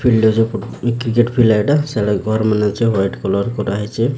Field ଯଉ cricket field ଏଇଟା ସେଟା ଘର ମାନ ଅଛି ହ୍ୱାଇଟ କଲର କରାହେଇଚି ଏଇଟା।